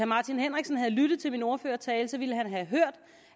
martin henriksen havde lyttet til min ordførertale ville han have hørt